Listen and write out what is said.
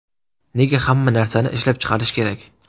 Nega hamma narsani ishlab chiqarish kerak?